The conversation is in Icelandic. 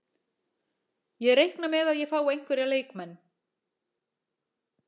Ég reikna með að ég fái einhverja leikmenn.